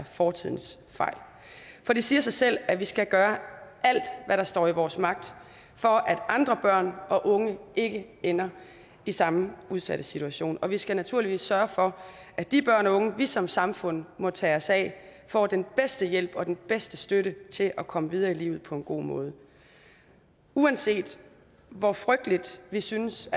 fortidens fejl for det siger sig selv at vi skal gøre alt hvad der står i vores magt for at andre børn og unge ikke ender i samme udsatte situation og vi skal naturligvis sørge for at de børn og unge vi som samfund må tage os af får den bedste hjælp og den bedste støtte til at komme videre i livet på en god måde uanset hvor frygtelige vi synes